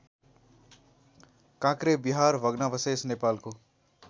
काँक्रेविहार भग्नावशेष नेपालको